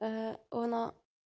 она